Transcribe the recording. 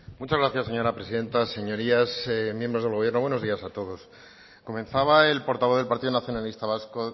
muchas gracias señora presidenta señorías miembros del gobierno buenos días a todos comenzaba el portavoz del partido nacionalista vasco